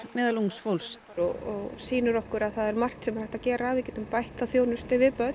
meðal ungs fólks og sýnir okkur að það er margt sem er hægt að gera við getum bætt þjónustu við börn